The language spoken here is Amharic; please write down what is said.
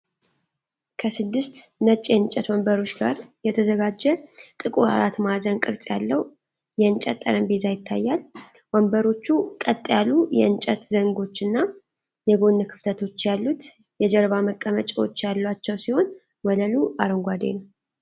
ከስድስት ነጭ የእንጨት ወንበሮች ጋር የተዘጋጀ ጥቁር አራት ማዕዘን ቅርጽ ያለው የእንጨት ጠረጴዛ ይታያል። ወንበሮቹ ቀጥ ያሉ የእንጨት ዘንጎች እና የጎን ክፍተቶች ያሉት የጀርባ መቀመጫዎች ያሏቸው ሲሆን፣ ወለሉ አረንጓዴ ነው።